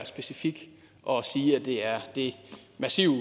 specifik og sige at det er det massive